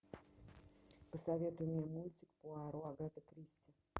посоветуй мне мультик пуаро агаты кристи